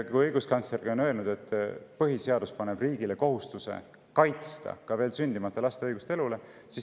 Õiguskantsler on öelnud, et põhiseadus paneb riigile kohustuse kaitsta ka veel sündimata laste õigust elule.